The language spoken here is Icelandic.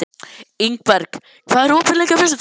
Ingberg, hvað er opið lengi á föstudaginn?